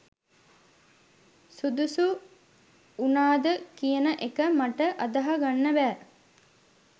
සුදුසු වුණාද කියන එක මට අදහා ගන්න බෑ.